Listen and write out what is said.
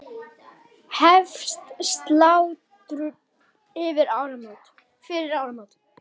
Hefst slátrun fyrir áramót.